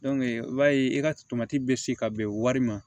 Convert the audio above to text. i b'a ye e ka tomati be se ka bɛn wari ma